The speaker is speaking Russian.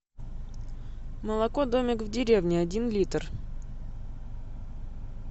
молоко домик в деревне один литр